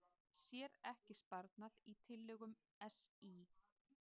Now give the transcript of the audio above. Sér ekki sparnað í tillögum SÍ